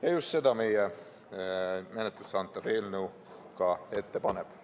Ja just seda meie menetlusse antav eelnõu ette paneb.